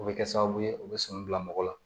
O bɛ kɛ sababu ye o bɛ sɔmi bila mɔgɔ la